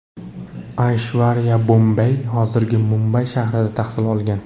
Ayshvariya Bombey, hozirgi Mumbay shahrida tahsil olgan.